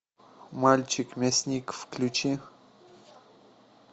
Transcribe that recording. мальчик мясник включи